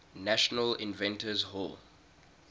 national inventors hall